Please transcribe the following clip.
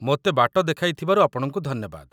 ମୋତେ ବାଟ ଦେଖାଇଥିବାରୁ ଆପଣଙ୍କୁ ଧନ୍ୟବାଦ